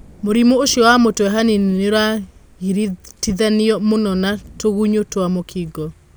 Mũrimũũcio wa mũtwe hanini nĩ ũragiritithanĩo mũno na tũgunyũtwa mũkingo.